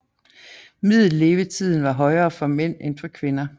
Middellevetiden var højere for mænd end for kvinder